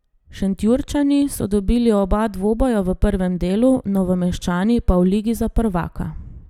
Šentjurčani so dobili oba dvoboja v prvem delu, Novomeščani pa v ligi za prvaka.